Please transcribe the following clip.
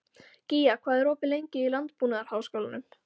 Gía, hvað er opið lengi í Landbúnaðarháskólanum?